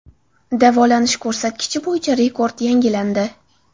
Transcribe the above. Davolanish ko‘rsatkichi bo‘yicha rekord yangilandi.